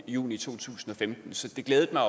i juni to tusind og femten så det glædede mig